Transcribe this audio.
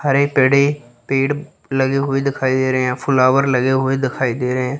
हरे पड़े पेड़ लगे हुए दिखाई दे रहे है। फ्लावर लगे हुए दिखाई दे रहे हैं।